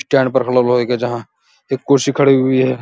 Stand पर लोहे के जहाँ एक कुर्सी खड़ी हुई है।